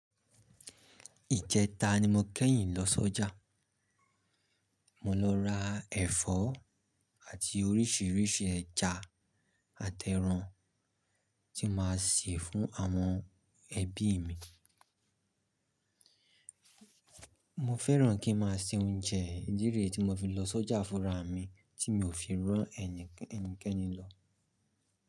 Ìjẹta ni mo kẹ́yìn lọ sọ́jà, mo lọ ra ẹ̀fọ́ àti oríṣiríṣi ẹja àtẹran tí máa ṣe fún àwọn ẹbí mi. Mo fẹ́ràn kí n má a se oúnjẹ ìdíje tí mo fi lọ sọ́jà fúnra mi tí mi ò fi rán ẹnikẹ́ni lọ.